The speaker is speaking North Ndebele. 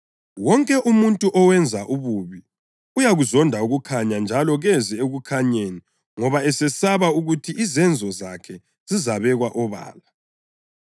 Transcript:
Wonke umuntu owenza ububi uyakuzonda ukukhanya, njalo kezi ekukhanyeni ngoba esesaba ukuthi izenzo zakhe zizabekwa obala.